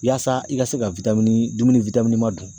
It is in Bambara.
Yaasa i ka se ka dumuni dun.